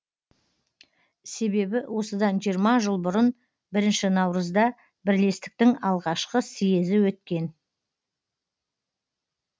себебі осыдан жиырма жыл бұрын бірінші наурызда бірлестіктің алғашқы съезі өткен